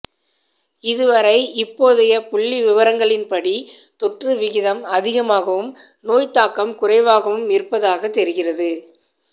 இதுவரை இப்போதைய புள்ளிவிவரங்களின்படி தொற்று விகிதம் அதிகமாகவும் நோய்த்தாக்கம் குறைவாகவும் இருப்பதாகத் தெரிகிறது